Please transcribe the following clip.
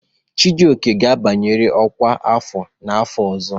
Chijioke ga-abanyerịrị ọkwá afọ n'afọ ọzọ!